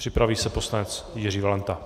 Připraví se poslanec Jiří Valenta.